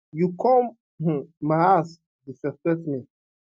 you come um my house you disrespect me